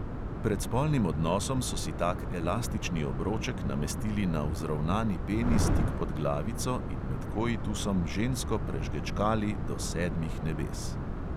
Pred spolnim odnosom so si tak elastični obroček namestili na vzravnani penis tik pod glavico in med koitusom žensko prežgačkali do sedmih nebes.